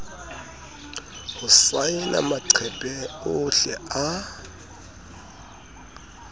ho saena maqephe ohle a